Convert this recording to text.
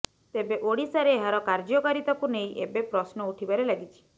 ତେବେ ଓଡ଼ିଶାରେ ଏହାର କାର୍ଯ୍ୟକାରିତାକୁ ନେଇ ଏବେ ପ୍ରଶ୍ନ ଉଠିବାରେ ଲାଗିଛି